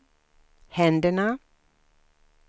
händerna